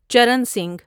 Charan Singh